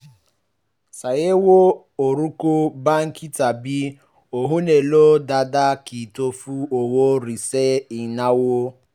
ṣàyẹ̀wò orúkọ báńkì tàbí ohun èlò dáadáa kí o tó fi owó rẹ ṣe ìnáwó